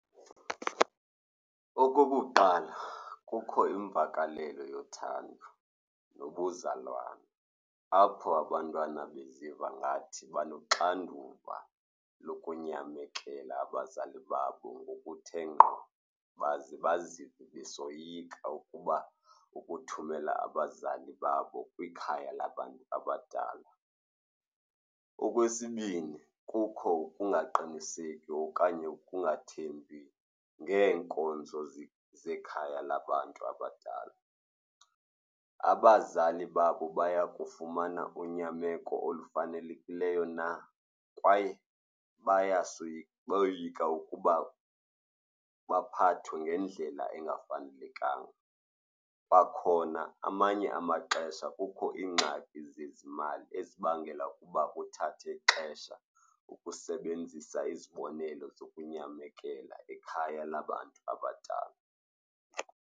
Okokuqala, kukho imvakalelo yothando nobuzalwane, apho abantwana beziva ngathi banoxanduva lokunyamekela abazali babo ngokuthe ngqo baze bazive besoyika ukuba ukuthumela abazali babo kwikhaya labantu abadala. Okwesibini, kukho ukungaqiniseki okanye ukungathembi ngeenkonzo zekhaya labantu abadala. Abazali babo baya kufumana unyameko olufanelekileyo na kwaye bayasoyika, boyika ukuba baphathwe ngendlela engafanelekanga. Kwakhona amanye amaxesha kukho iingxaki zezimali ezibangela ukuba kuthathe ixesha ukusebenzisa izibonelo zokunyamekela ikhaya labantu abadala.